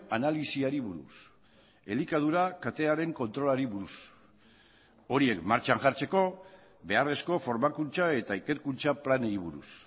analisiari buruz elikadura katearen kontrolari buruz horiek martxan jartzeko beharrezko formakuntza eta ikerkuntza planei buruz